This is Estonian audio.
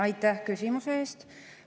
Aitäh küsimuse eest!